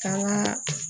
K'an ka